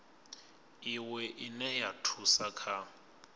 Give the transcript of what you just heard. iwe ine ya thusa kha